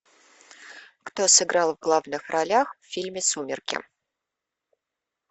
кто сыграл в главных ролях в фильме сумерки